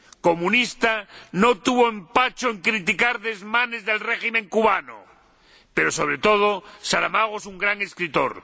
Comunista, no tuvo empacho en criticar desmanes del régimen cubano, pero, sobre todo, Saramago es un gran escritor.